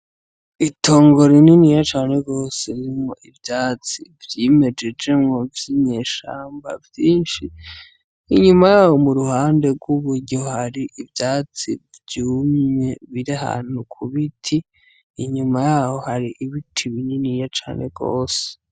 Itongore inini ya cane gose rimwo ivyatsi vyimejejemwo vy'inyeshamba vyinshi inyuma yaho mu ruhande rw'uburyo hari ivyatsi vyumye birahanuku biti inyuma yaho hari ibiti binini ya cane rwose.